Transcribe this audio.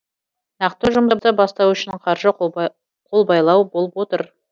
нақты жұмысты бастау үшін қаржы қолбайлау болып отыр